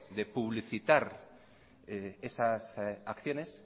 de publicitar esas acciones